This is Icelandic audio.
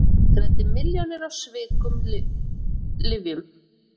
Græddi milljónir á sviknum lyfjum